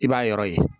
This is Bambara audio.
I b'a yɔrɔ ye